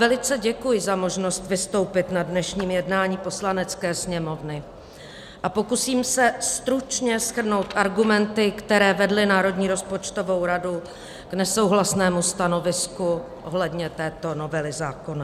Velice děkuji za možnost vystoupit na dnešním jednání Poslanecké sněmovny a pokusím se stručně shrnout argumenty, které vedly Národní rozpočtovou radu k nesouhlasnému stanovisku ohledně této novely zákona.